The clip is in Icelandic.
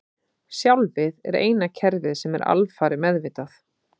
Sjálfið er eina kerfið sem er alfarið meðvitað.